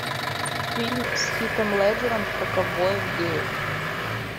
фильм с хитом леджером про ковбоев геев